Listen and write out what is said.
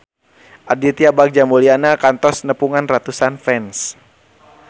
Aditya Bagja Mulyana kantos nepungan ratusan fans